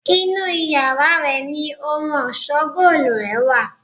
Inú yàrá rẹ̀ ni ohun ọ̀ṣọ́ góòlù rè wà.